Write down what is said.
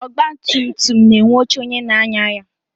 Ọgbatumtum na-enwe oche onye na-anya ya.